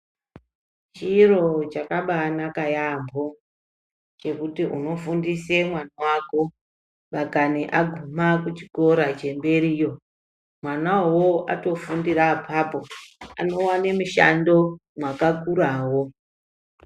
Chiro chakabaanaka yaampho, chekuti unofundise mwana wako, ndangani aguma kuchikora chemberiyo, mwana uwowo atofundire apapo ,anowane mishando mwakakurawo.